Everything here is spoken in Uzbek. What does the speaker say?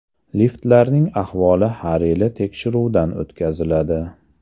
Liftlarning ahvoli har yili tekshiruvdan o‘tkaziladi.